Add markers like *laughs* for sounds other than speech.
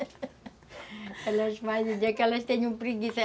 *laughs* Elas fazem, tem dia que elas têm preguiça.